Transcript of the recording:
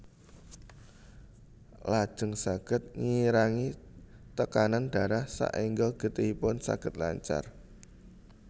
Lajeng saged ngirangi tekanan darah saéngga getihipun saged lancar